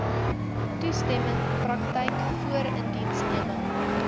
toestemming praktyk voorindiensneming